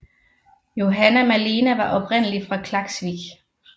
Johanna Malena var oprindelig fra Klaksvík